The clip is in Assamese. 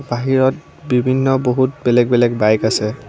বাহিৰত বিভিন্ন বহুত বেলেগ-বেলেগ বাইক আছে।